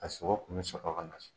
A sogo kun bɛ sɔrɔ ka na so.